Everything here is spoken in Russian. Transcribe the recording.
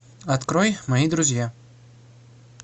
открой мои друзья